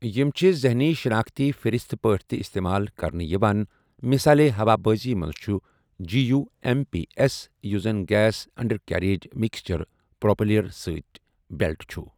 یِم چھِ ذہنی شِناختی فہرِست پٲٹھۍ تہِ استعمال کرنہٕ یِوان، مِثالے ہوا بٲزی منٛز چھُ 'G U M P S '، یُس زن 'gas under carriage mixture propeller seat belt' چھُ۔